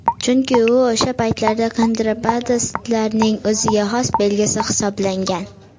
Chunki u o‘sha paytlarda kontrabandistlarning o‘ziga xos belgisi hisoblangan.